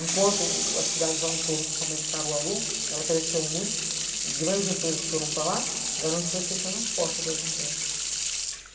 Enquanto as cidades ao em torno principalmente Caruaru, ela cresceu muito, grandes empresas foram para lá, Garanhuns foi fechando as portas para as empresas.